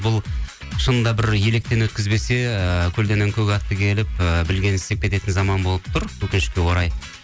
бұл шынында бір електен өткізбесе ыыы көлденең көк атты келіп ы білгенін істеп кететін заман болып тұр өкінішке орай